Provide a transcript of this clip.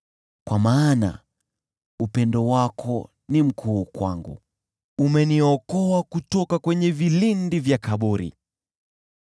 Kwa maana upendo wako ni mkuu kwangu; umeniokoa kutoka kwenye vilindi vya kaburi.